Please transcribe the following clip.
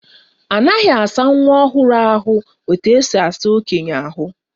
Anaghị asa nwa ọhụrụ ahụ etu esi asa okenye ahụ.